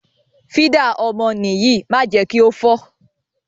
Fídà ọmọ nìyí má jẹ kí ó fọ́.